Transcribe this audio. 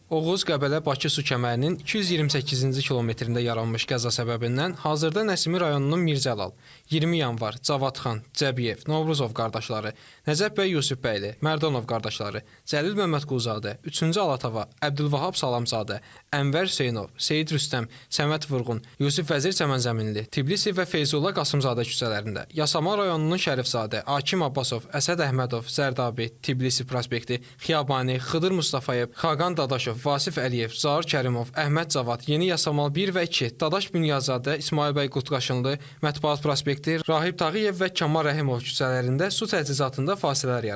Oğuz-Qəbələ-Bakı su kəmərinin 228-ci kilometrində yaranmış qəza səbəbindən hazırda Nəsimi rayonunun Mirzəlil, 20 Yanvar, Cavadxan, Cəbiyev, Novruzov qardaşları, Nəcəf bəy Yusuf bəyli, Mərdanov qardaşları, Cəlil Məmmədquluzadə, Üçüncü Alatava, Əbdülvahab Salamzadə, Ənvər Hüseynov, Seyid Rüstəm, Səməd Vurğun, Yusif Vəzir Çəmənzəminli, Tibilisi və Feyzullah Qasımzadə küçələrində, Yasamal rayonunun Şərifzadə, Akim Abbasov, Əsəd Əhmədov, Zərdabi, Tibilisi prospekti, Xiyabani, Xıdır Mustafayev, Xaqan Dadaşov, Vasif Əliyev, Zaur Kərimov, Əhməd Cavad, Yeni Yasamal 1 və 2, Dadaş Bünyadzadə, İsmayıl bəy Qutqaşınlı, Mətbuat prospekti, Rahib Tağıyev və Kamal Rəhimov küçələrində su təchizatında fasilələr yaranıb.